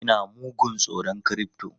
Ina mugun tsoron crypto!